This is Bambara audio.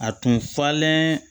A tun falen